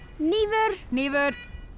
hnífur hnífur